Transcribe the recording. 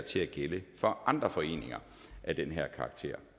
til at gælde for andre foreninger af den her karakter